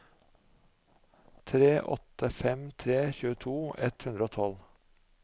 tre åtte fem tre tjueto ett hundre og tolv